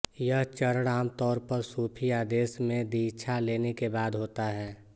यह चरण आम तौर पर सूफी आदेश में दीक्षा लेने के बाद होता है